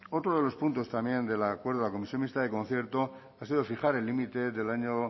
otro de los puntos también del acuerdo de la comisión mixta de concierto ha sido fijar el límite del año